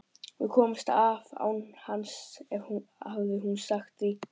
Við komumst af án hans hafði hún sagt.